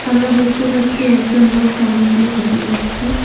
আমরা দেখতে পাচ্ছি একজন লোক সামন দিয়ে হেঁটে যাচ্ছে।